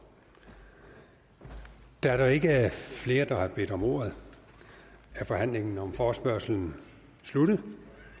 da der ikke er flere der har bedt om ordet er forhandlingen om forespørgslen sluttet